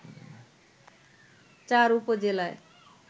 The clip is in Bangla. চার উপজেলায়